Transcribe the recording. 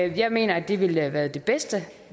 jeg mener at det ville have været det bedste